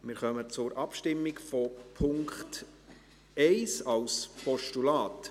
Wir kommen zur Abstimmung über die Ziffer 1 als Postulat.